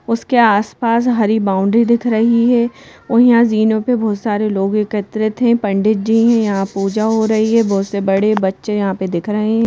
उसके आसपास हरी बाउंड्री दिख रही है ओहीं यहां जीनों पे बहोत सारे लोग एकत्रित हैं पंडित जी हैं यहां पूजा हो रही है बहोत से बड़े बच्चे यहां पे दिख रहे हैं।